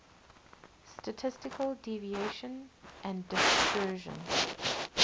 statistical deviation and dispersion